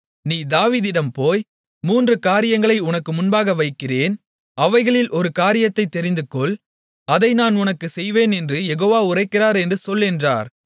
நீ தாவீதிடம் போய் மூன்று காரியங்களை உனக்கு முன்பாக வைக்கிறேன் அவைகளில் ஒரு காரியத்தைத் தெரிந்துகொள் அதை நான் உனக்குச் செய்வேன் என்று யெகோவா உரைக்கிறார் என்று சொல் என்றார்